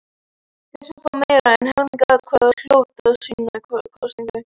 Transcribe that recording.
Þeir sem fá meira en helming atkvæða hljóta síðan kosningu.